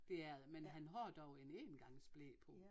Det er det men han har dog en engangsble på